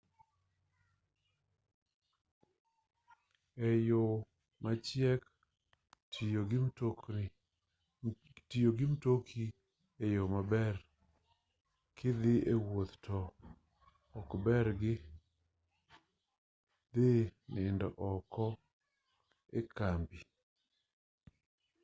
e yo machiek tiyo gi mtoki en yo maber kidhi wuoth to ok obergi dhi nindo oko ekambi